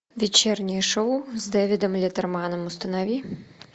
вечернее шоу с дэвидом леттерманом установи